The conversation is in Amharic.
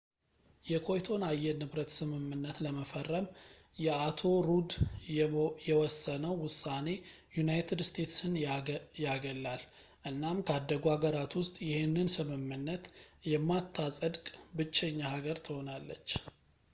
የኮይቶን አየር ንብረት ስምምነት ለመፈረም የአቶ ሩድ የወሰነው ውሳኔ ዩናይትድ ስቴትስን ያገላል እናም ካደጉ ሀገራት ውስጥ ይሄንን ስምምነት የማታጸድቅ ብቸኛ ሀገር ትሆናለች